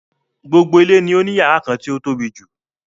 Gbogbo ilé ni ó ní yàrá kan tí o tóbijù.